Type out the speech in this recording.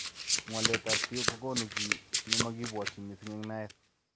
Ngwalet ab siok kokunu ki nemakibwotyin missing eng naet.